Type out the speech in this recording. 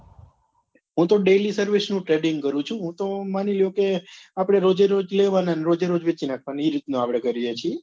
હું તો daily service નું trading કરું છુ હું તો માની લો કે આપડે રોજે રોજ લેવા ના ને રોજે રોજ વેચી નાખવા ના એ રીત નું આપડે કરીએ છીએ